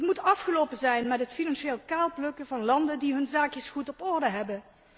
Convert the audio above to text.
Het moet afgelopen zijn met het financieel kaalplukken van landen die hun zaakjes goed op orde hebben.